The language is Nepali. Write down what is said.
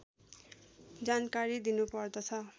जानकारी दिनुपर्दछ